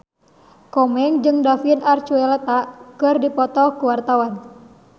Komeng jeung David Archuletta keur dipoto ku wartawan